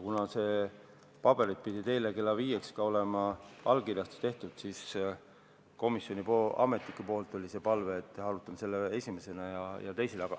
Kuna paberid pidid eile kella viieks olema allkirjastatud, siis komisjoni ametnikel oli palve, et arutame seda esimesena.